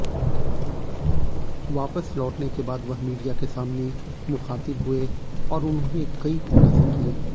वापस लौटने के बाद वह मीडिया के सामने मुखातिब हुए और उन्होंने कई खुलासे किए